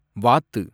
வாத்து